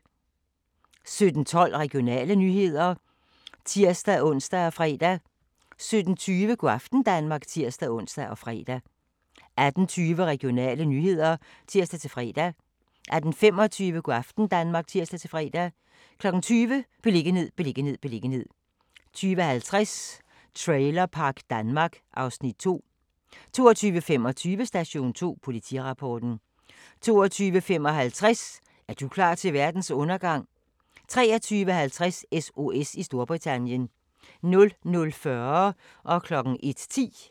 17:12: Regionale nyheder (tir-ons og fre) 17:20: Go' aften Danmark (tir-ons og fre) 18:20: Regionale nyheder (tir-fre) 18:25: Go' aften Danmark (tir-fre) 20:00: Beliggenhed, beliggenhed, beliggenhed 20:50: Trailerpark Danmark (Afs. 2) 22:25: Station 2: Politirapporten 22:55: Er du klar til verdens undergang? 23:50: SOS i Storbritannien 00:40: Grænsepatruljen (tir-ons)